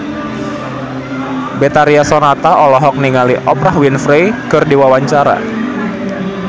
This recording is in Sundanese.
Betharia Sonata olohok ningali Oprah Winfrey keur diwawancara